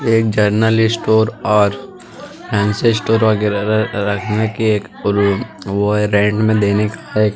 ये एक general store fancy store रखने की वो है रेंट में देने की --